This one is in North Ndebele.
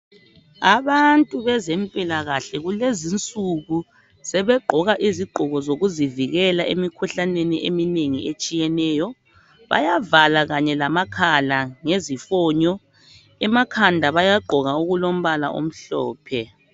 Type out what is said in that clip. Abantu bezempilakahle kulezinsuku sebegqoka izigqoko zokuzivikela emkhuhlaneni eminengi etshiyeneyo bayavala kanye lamakhala ngezifonyo emakhanda bayagqoka okulombala omhlophe